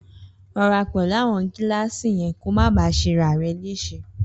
Rọra pẹlu awon gílàsi yen kó ma bà ṣe ràrẹ lese.